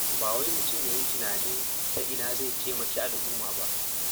Ba wai mutum ya yi tunanin ta ina zai taimaki al'umma ba.